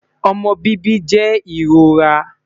omọ bibi jẹ irora